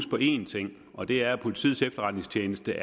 på én ting og det er at politiets efterretningstjeneste